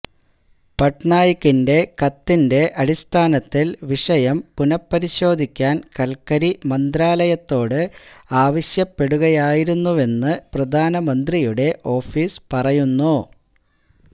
പട്നായിക്കിന്റെ കത്തിന്റെ അടിസ്ഥാനത്തില് വിഷയം പുനഃപരിശോധിക്കാന് കല്ക്കരി മന്ത്രാലയത്തോട് ആവശ്യപ്പെടുകയായിരുന്നുവെന്ന് പ്രധാനമന്ത്രിയുടെ ഓഫീസ് പറയുന്നു